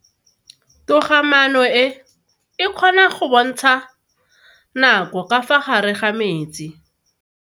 Toga-maano e, e kgona go bontsha nako ka fa gare ga metsi.